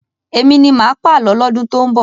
Èmi ni máà pàlọ́ lọ́dún tó ń bọ̀.